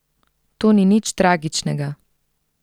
To ni nič tragičnega.